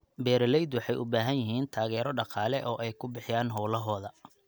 Beeraleydu waxay u baahan yihiin taageero dhaqaale oo ay ku bixiyaan hawlahooda.